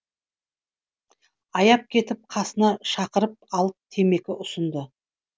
аяп кетіп қасына шақырып алып темекі ұсынды